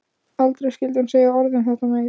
Aldrei skyldi hún segja orð um þetta meir.